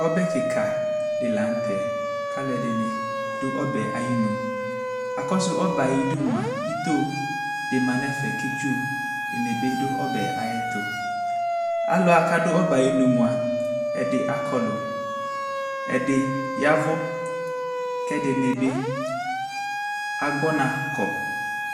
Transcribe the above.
Ɔbɛ kɩka dɩ la nʋ tɛ kʋ alʋɛdɩnɩ dʋ ɔbɛ yɛ ayinu Akɔsʋ ɔbɛ yɛ ayidu mʋa, ito dɩ ma nʋ ɛfɛ kʋ itsu dɩnɩ dʋ ɔbɛ yɛ ayɛtʋ Alʋ wa kʋ adʋ ɔbɛ yɛ ayinu mʋa, ɛdɩ akɔlʋ, ɛdɩbya ɛvʋ kʋ ɛdɩnɩ bɩ agbɔ ɔna kɔ